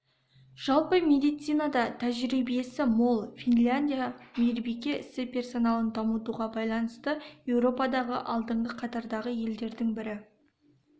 жалпы медицинада тәжірибесі мол финляндия мейірбике ісі персоналын дамытуға байланысты еуропадағы алдыңғы қатардағы елдердің бірі